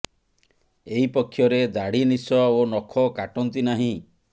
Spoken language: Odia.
ଏହି ପକ୍ଷରେ ଦାଢି ନିଶ ଓ ନଖ କାଟନ୍ତି ନାହିଁ